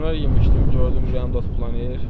Dönər yemişdim, gördüm ürəyim dop-dolanır.